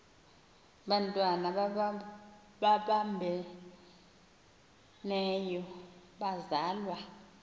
bantwana babambeneyo bazalwa